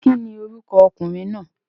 Kíni orúkọ okùnrin náà?